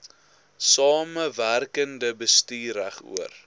samewerkende bestuur regoor